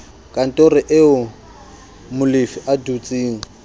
kantorong eo molefi a dutseng